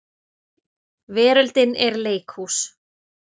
Veröldin er leikhús.